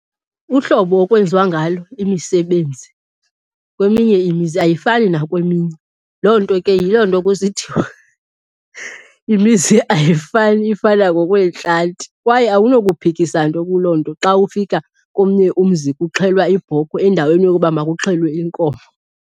Uhlobo okwenziwa ngalo imisebenzi kweminye imizi ayifani nakweminye. Loo nto ke yiloo nto kusithiwa imizi ayifani ifana ngokwentlanti, kwaye awunokuphikisa nto kuloo nto xa ufika komnye umzi kuxhelwa ibhokhwe endaweni yokuba makuxhelwe inkomo.